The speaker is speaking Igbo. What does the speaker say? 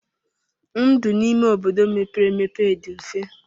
Ndụ n'ime obodo mepere emepe dị mfe.